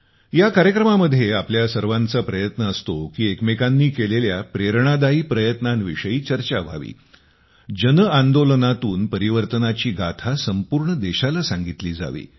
या कार्यक्रमामध्ये आपल्या सर्वांचा प्रयत्न असतो की एकमेकांनी केलेल्या प्रेरणादायी प्रयत्नांविषयी चर्चा व्हावी जनआंदोलनातून परिवर्तनाची गाथा संपूर्ण देशाला सांगितली जावी